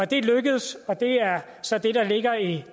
det er lykkedes og det er så det der ligger i